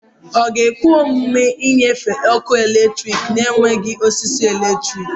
Ọ ga-ekwe omume ịnyefe ọkụ eletrik na-enweghị osisi eletrik?